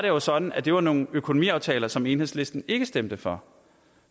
jo sådan at det var nogle økonomiaftaler som enhedslisten ikke stemte for